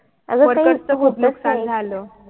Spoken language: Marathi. अंग workers च खूप नुकसान झालं